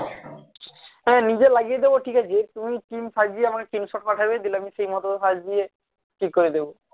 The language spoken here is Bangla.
হ্যাঁ নিজে লাগিয়ে দেব ঠিকাছে তুমি team সাজিয়ে আমায় screenshot পাঠাবে যেগুলো আমি সেইমতো সাজিয়ে ঠিক করে দেব